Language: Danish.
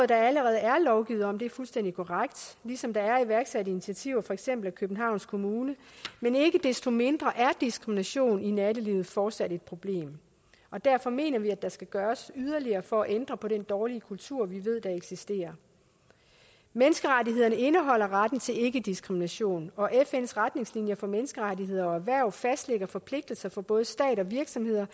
der allerede er lovgivet om det er fuldstændig korrekt ligesom der er iværksat initiativer for eksempel af københavns kommune men ikke desto mindre er diskrimination i nattelivet fortsat et problem og derfor mener vi at der skal gøres yderligere for at ændre på den dårlige kultur vi ved der eksisterer menneskerettighederne indeholder retten til ikkediskrimination og fns retningslinjer for menneskerettigheder og erhvervsliv fastlægger forpligtelser for både stater og virksomheder